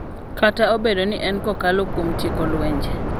Kata obedo ni en kokalo kuom tieko lwenje,